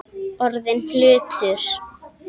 Orðinn hlutur.